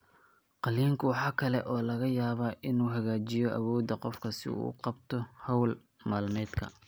Qalliinku waxa kale oo laga yaabaa inuu hagaajiyo awoodda qofka si uu u qabto hawl maalmeedka.